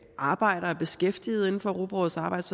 arbejder og er beskæftiget inden for europarådets arbejde